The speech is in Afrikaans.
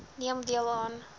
neem deel aan